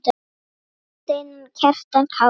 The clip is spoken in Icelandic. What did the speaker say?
Jón Steinar og Kjartan Kári.